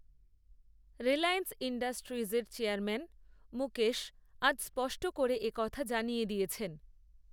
রিলায়েন্স ইণ্ডাস্ট্রিজের চেয়ারম্যান মুকেশ আজ স্পষ্ট করে এ কথা জানিয়ে দিয়েছেন